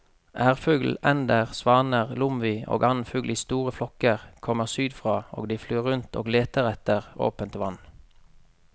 Ærfugl, ender, svaner, lomvi og annen fugl i store flokker kommer sydfra og de flyr rundt og leter etter åpent vann.